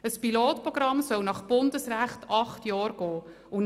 Ein Pilotprogramm soll nach Bundesrecht acht Jahre dauern.